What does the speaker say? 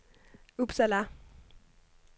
Uppsala